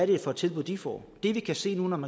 det for tilbud de får det vi kan se når man